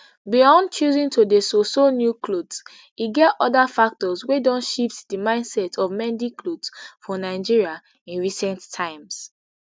beyond choosing to dey sew sew new clothes e get other factors wey don shift di mindset of mending clothes for nigeria in recent times